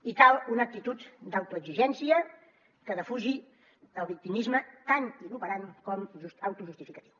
i cal una actitud d’autoexigència que defugi el victimisme tan inoperant com autojustificatiu